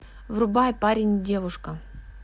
врубай парень и девушка